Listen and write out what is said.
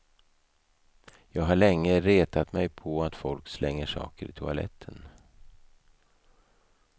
Jag har länge retat mig på att folk slänger saker i toaletten.